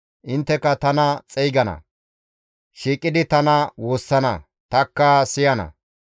Intteka tana xeygana; shiiqidi tana woossana; tanikka siyana.